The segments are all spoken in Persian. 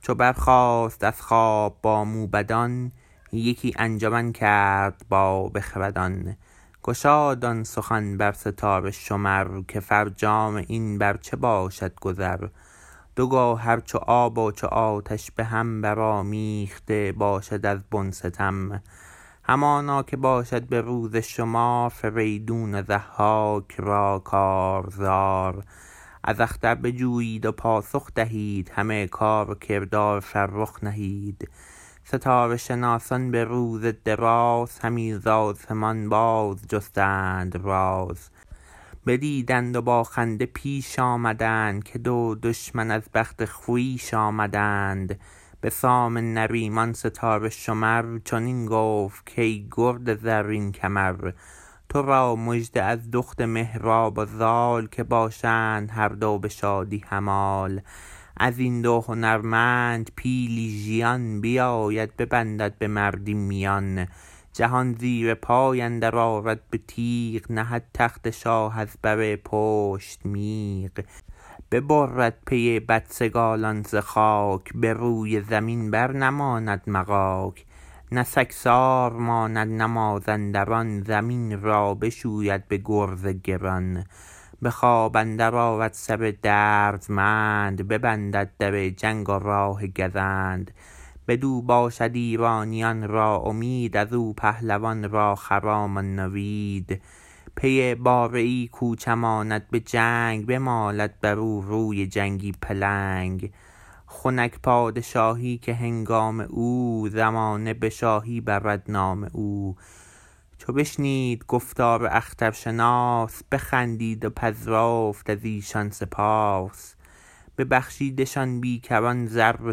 چو برخاست از خواب با موبدان یکی انجمن کرد با بخردان گشاد آن سخن بر ستاره شمر که فرجام این بر چه باشد گذر دو گوهر چو آب و چو آتش به هم برآمیخته باشد از بن ستم همانا که باشد به روز شمار فریدون و ضحاک را کارزار از اختر بجویید و پاسخ دهید همه کار و کردار فرخ نهید ستاره شناسان به روز دراز همی ز آسمان بازجستند راز بدیدند و با خنده پیش آمدند که دو دشمن از بخت خویش آمدند به سام نریمان ستاره شمر چنین گفت کای گرد زرین کمر ترا مژده از دخت مهراب و زال که باشند هر دو به شادی همال ازین دو هنرمند پیلی ژیان بیاید ببندد به مردی میان جهان زیرپای اندر آرد به تیغ نهد تخت شاه از بر پشت میغ ببرد پی بدسگالان ز خاک به روی زمین بر نماند مغاک نه سگسار ماند نه مازندران زمین را بشوید به گرز گران به خواب اندرد آرد سر دردمند ببندد در جنگ و راه گزند بدو باشد ایرانیان را امید ازو پهلوان را خرام و نوید پی باره ای کو چماند به جنگ بمالد برو روی جنگی پلنگ خنک پادشاهی که هنگام او زمانه به شاهی برد نام او چو بشنید گفتار اخترشناس بخندید و پذرفت ازیشان سپاس ببخشیدشان بی کران زر و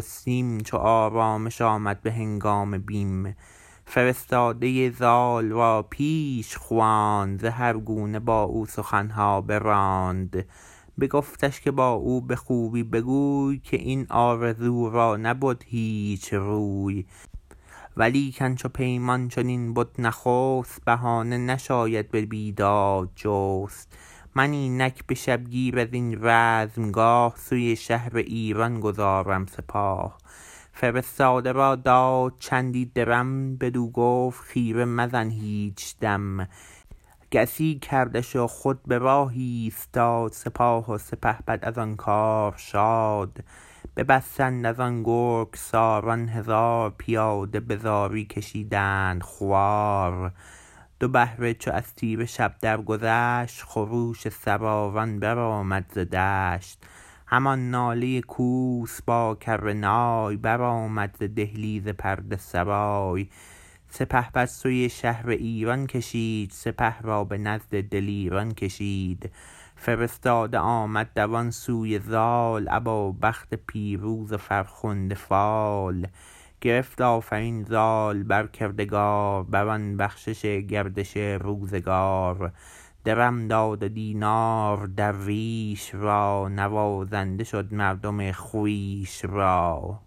سیم چو آرامش آمد به هنگام بیم فرستاده زال را پیش خواند زهر گونه با او سخنها براند بگفتش که با او به خوبی بگوی که این آرزو را نبد هیچ روی ولیکن چو پیمان چنین بد نخست بهانه نشاید به بیداد جست من اینک به شبگیر ازین رزمگاه سوی شهر ایران گذارم سپاه فرستاده را داد چندی درم بدو گفت خیره مزن هیچ دم گسی کردش و خود به راه ایستاد سپاه و سپهبد از آن کار شاد ببستند از آن گرگساران هزار پیاده به زاری کشیدند خوار دو بهره چو از تیره شب درگذشت خروش سواران برآمد ز دشت همان ناله کوس با کره نای برآمد ز دهلیز پرده سرای سپهبد سوی شهر ایران کشید سپه را به نزد دلیران کشید فرستاده آمد دوان سوی زال ابا بخت پیروز و فرخنده فال گرفت آفرین زال بر کردگار بران بخشش گردش روزگار درم داد و دینار درویش را نوازنده شد مردم خویش را